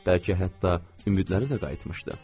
Bəlkə hətta ümidləri də qayıtmışdı.